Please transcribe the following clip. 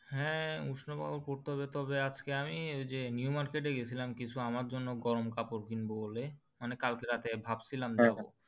হ্যাঁ, উষ্ণ কাপড় পড়তে হবে তবে আজকে আমি যে new market এ গিয়েছিলাম কিছু আমার জন্য গরম কাপড় কিনবো বলে মানে কালকে রাতে ভাবছিলাম যাবো হ্যাঁ হ্যাঁ,